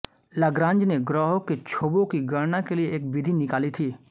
Lagrange ने ग्रहों के क्षोभों की गणना के लिये एक विधि निकाली थी